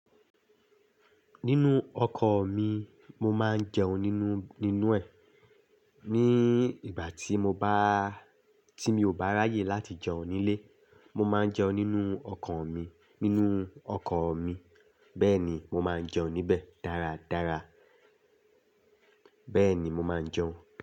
Nínu ọkọ̀ mi, mo máa ń jẹun nínú, nínú ẹ̀. Ni ìgbà tí mo bá, tí mi ò bá ráyè láti jẹun nílé, mo máa ń jẹun nínú ọkọ̀ mi, nínú ọkọ̀ mi. Bẹ́ẹ̀ ni, mo máa ń jẹun níbẹ̀ dáradára. Bẹ́ẹ̀ ni mo máa ń jẹun.